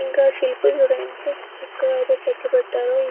ఇంకా శిల్పాలు చూడ ఎంత చక్కగా అయితే చెక్కిపెట్టారో--